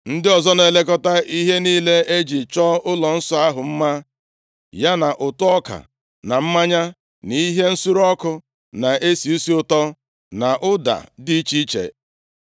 Ndị ọzọ na-elekọta ihe niile e ji chọọ ụlọnsọ ahụ mma, ya na ụtụ ọka, na mmanya, na ihe nsure ọkụ na-esi isi ụtọ, na ụda dị iche iche.